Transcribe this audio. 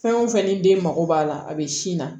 Fɛn o fɛn ni den mako b'a la a bɛ sin na